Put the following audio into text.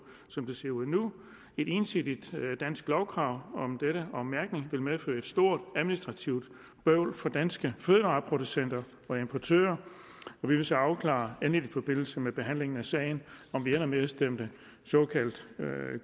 som det ser ud nu et ensidigt dansk lovkrav om mærkning vil medføre et stort administrativt bøvl for danske fødevareproducenter og importører og vi vil så afklare endeligt i forbindelse med behandlingen af sagen om vi ender med at stemme såkaldt